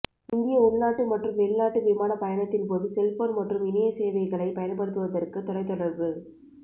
இந்திய உள்நாட்டு மற்றும் வெளிநாட்டு விமான பயணத்தின்போது செல்போன் மற்றும் இணைய சேவைகளை பயன்படுத்துவதற்கு தொலைதொடர்பு